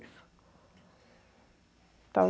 Isso.